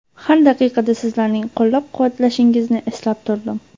Har daqiqa Sizlarning qo‘llab-quvvatlashingizni his etib turdim.